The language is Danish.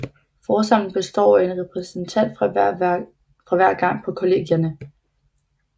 Forsamlingen består af én repræsentant fra hver gang på kollegierne